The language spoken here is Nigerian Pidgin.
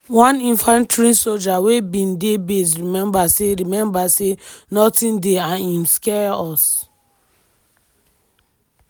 one infantry soja wey bin dey base remember say remember say "nothing dey and im scare us.